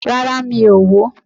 Rárá, mi ò wò ó